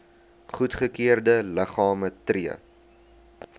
goedgekeurde liggame tree